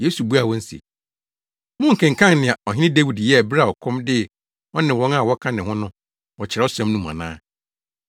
Yesu buaa wɔn se, “Monkenkan nea Ɔhene Dawid yɛɛ bere a ɔkɔm dee ɔne wɔn a wɔka ne ho no wɔ Kyerɛwsɛm no mu ana?